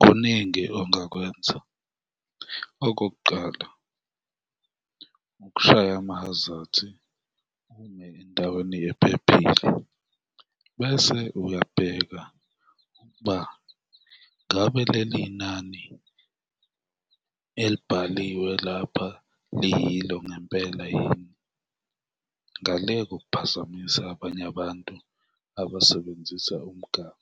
Kuningi ongakwenza, okokuqala, ukushaya amahazathi, ume endaweni ephephile bese uyabheka ukuba ngabe leli nani elibhaliwe lapha liyilo ngempela yini ngale kokuphazamisa abanye abantu abasebenzisa umgaqo.